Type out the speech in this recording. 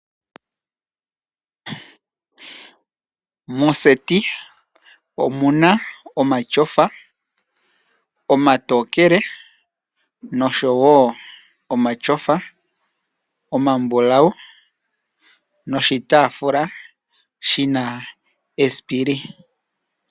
Moseti omuna omachofa omatookele, nosho wo omachofa omambulawu, noshi taafula shina esipili.